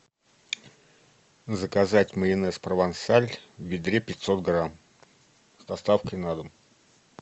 заказать майонез провансаль в ведре пятьсот грамм с доставкой на дом